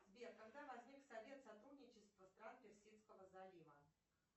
сбер когда возник совет сотрудничества стран персидского залива